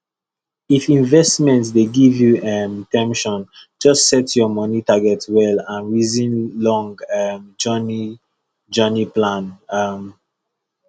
if investment dey give you um ten sion just set your money target well and reason long um journey journey plan um